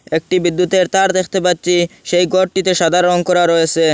একটি বিদ্যুতের তার দেখতে পাচ্ছি সেই ঘরটিতে সাদা রং করা রয়েছে।